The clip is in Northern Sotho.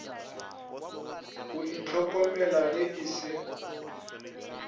go ihlokomela ge e se